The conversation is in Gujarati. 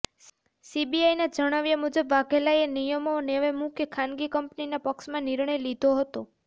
સીબીઆઈના જણાવ્યા મુજબ વાઘેલાએ નિયમો નેવે મૂકી ખાનગી કંપનીના પક્ષમાં નિર્ણય લીધો હતો